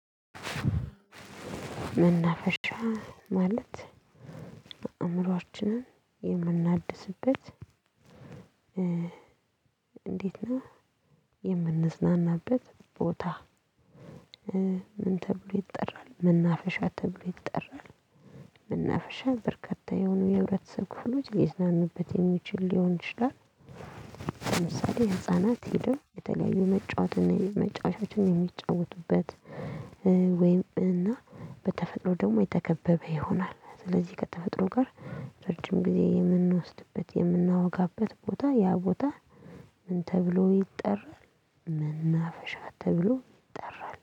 መናፈሻ ማለት አእምሮአችንን የምናድስበት እንዴት ነው? የምንዝናናበት ቦታ ምን ተብሎ ይጠራል መናፈሻ ተብሎ ይጠራል መናፈሻ በርከታ የሆኑ የህብረተሰብ ክፍሎች ሊዝናኑበት የሚችል ሊሆን ይችላል ለምሳሌ ህፃናት ሄደው የተለያዩ መጫወትን መጫወቻዎችን የሚጫወቱበት ወይም እና በተፈጥሮ ደግሞ የተከበበ ይሆናል ስለዚህ ከተፈጥሮ ጋር ረጅም ጊዜ የምንወስድበት የምናወጋበት ቦታ ያ ቦታ ምን ተብሎ ይጠራል መናፈሻ ተብሎ ይጠራል